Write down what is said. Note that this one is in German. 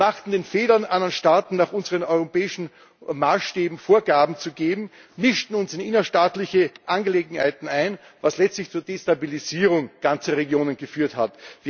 Wir machten den Fehler, anderen Staaten nach unseren europäischen Maßstäben Vorgaben zu geben, mischten uns in innerstaatliche Angelegenheiten ein, was letztlich zur Destabilisierung ganzer Regionen geführt hat.